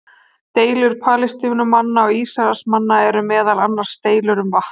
Deilur Palestínumanna og Ísraelsmanna eru meðal annars deilur um vatn.